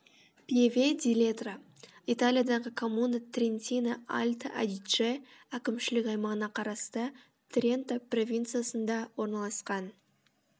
пьеве ди ледро италиядағы коммуна трентино альто адидже әкімшілік аймағына қарасты тренто провинциясында орналасқан